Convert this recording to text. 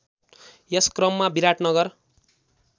यस क्रममा विराटनगर